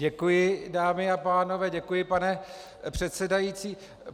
Děkuji, dámy a pánové, děkuji, pane předsedající.